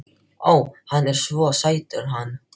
Ó, hann er svo sætur hann